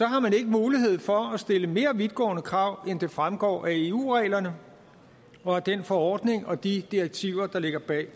har man ikke mulighed for at stille mere vidtgående krav end det fremgår af eu reglerne og af den forordning og de direktiver der ligger bag